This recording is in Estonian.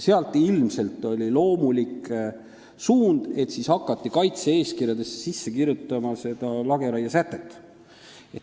Seetõttu oli ilmselt loomulik, et siis hakati kaitse-eeskirjadesse sisse kirjutama seda lageraiesätet.